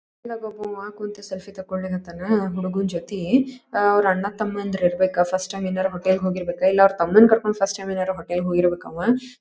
ಇಲ್ಲಿ ಒಬ್ಬ ಒಬ್ಬಂವಾ ಕುಂತ್ ಸೆಲ್ಫಿ ತೆಕ್ಕೊಲಿಕತ್ತಾನ ಹುಡ್ಗನ ಜತಿ ಅವ್ರ ಅಣ್ಣ ತಮ್ಮಂದ್ರ ಇರಬೇಕ ಫಸ್ಟ್ ಟೈಮ್ ಏನಾರೆ ಹೋಟೆಲ್ ಗೆ ಹೋಗಿರ್ಬೇಕ ಇಲ್ಲ ಅವನ್ ತಮ್ಮನ ಕರ್ಕೊಂಡ ಫಸ್ಟ್ ಟೈಮ್ ಏನಾರೆ ಹೋಟೆಲ್ ಗೆ ಹೋಗಿರ್ಬೇಕ ಅವಾ.